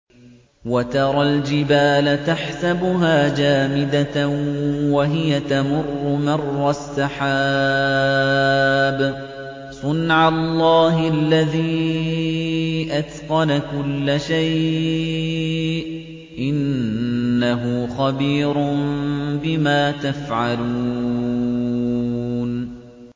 وَتَرَى الْجِبَالَ تَحْسَبُهَا جَامِدَةً وَهِيَ تَمُرُّ مَرَّ السَّحَابِ ۚ صُنْعَ اللَّهِ الَّذِي أَتْقَنَ كُلَّ شَيْءٍ ۚ إِنَّهُ خَبِيرٌ بِمَا تَفْعَلُونَ